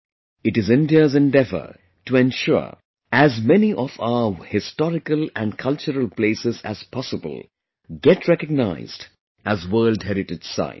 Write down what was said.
It is India's endeavorto ensure as many of our historical and cultural places as possible get recognized as World Heritage Sites